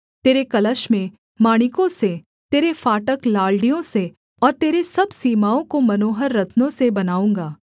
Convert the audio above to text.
तेरे कलश मैं माणिकों से तेरे फाटक लालड़ियों से और तेरे सब सीमाओं को मनोहर रत्नों से बनाऊँगा